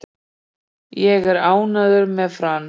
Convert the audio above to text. Ég er ánægður með Frans.